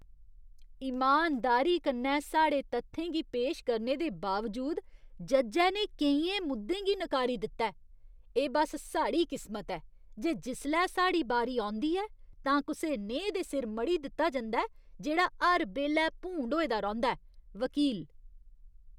इमानदारी कन्नै साढ़े तत्थें गी पेश करने दे बावजूद, जज्जै ने केइयें मुद्दें गी नकारी दित्ता ऐ। एह् बस साढ़ी किस्मत ऐ जे जिसलै साढ़ी बारी औंदी ऐ तां कुसै नेहे दे सिर मढ़ी दित्ता जंदा ऐ जेह्ड़ा हर बेल्लै भूंड होए दा रौंह्दा ऐ। वकील